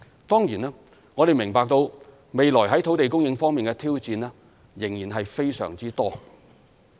當然，我們明白未來在土地供應方面的挑戰仍然非常多。